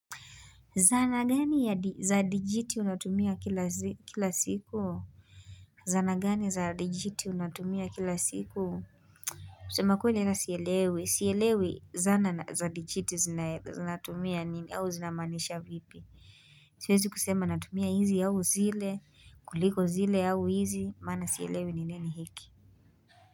Zana gani ya za dijiti unatumia kila siku? Zana gani za dijiti unatumia kila siku? Kusema kwele na sielewe. Sielewi zana za dijiti zinatumia au zina maanisha vipi? Tuezi kusema natumia hizi au zile, kuliko zile au hizi, maana sielewi ni nini hiki?